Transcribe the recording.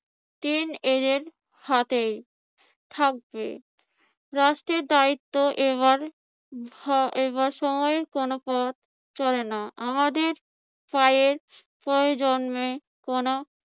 হাতেই থাকবে, রাষ্ট্রের দায়িত্ব এইবার বা এইবার সময়ের কোন পথ চলে না। আমাদের কোন